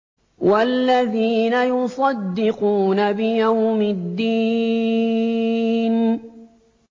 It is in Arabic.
وَالَّذِينَ يُصَدِّقُونَ بِيَوْمِ الدِّينِ